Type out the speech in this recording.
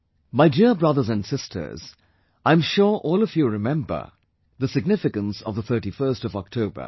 My dear brothers and sisters, I am sure all of you remember the significance of the 31st of October